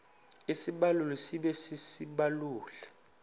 isibaluli sibe sisibaluli